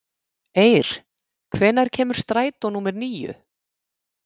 Eir, hvenær kemur strætó númer níu?